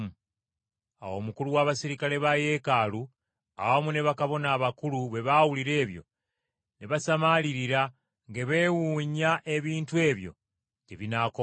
Awo omukulu w’abaserikale ba Yeekaalu awamu ne bakabona abakulu bwe baawulira ebyo ne basamaalirira nga beewuunya ebintu ebyo gye binaakoma.